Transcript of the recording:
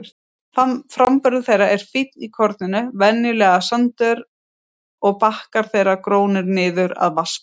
Framburður þeirra er fínn í korninu, venjulega sandur, og bakkar þeirra grónir niður að vatnsborði.